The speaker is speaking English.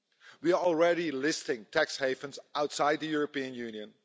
We are already listing tax havens outside the European Union